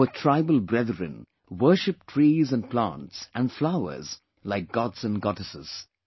Our tribal brethren worship trees and plants and flowers like gods and goddesses